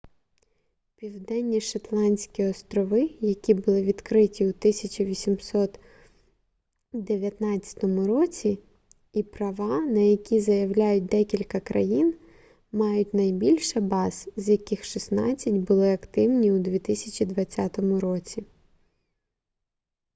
південні шетландські острови які були відкриті у 1819 році і права на які заявляють декілька країн мають найбільше баз з яких шістнадцять були активні у 2020 році